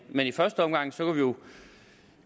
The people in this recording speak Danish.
men i første omgang